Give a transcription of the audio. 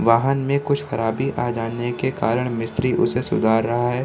वाहन मे कुछ खराबी आ जाने के कारण मिस्त्री उसे सुधार रहा है।